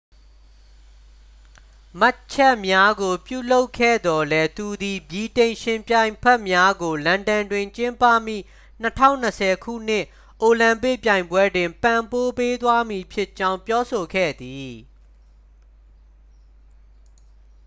မှတ်ချက်များကို ပြုလုပ်ခဲ့သော်လည်း သူသည် ဗြိတိန် ယှဉ်ပြိုင်ဖက်များကို လန်ဒန်တွင် ကျင်းပမည့် 2020 ခုနှစ် အိုလံပစ်ပြိုင်ပွဲတွင် ပံ့ပိုးပေးသွားမည်ဖြစ်ကြောင်း ပြောဆိုခဲ့သည်